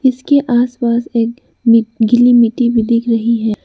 इसके आस पास एक गीली मिट्टी भी दिख रही है।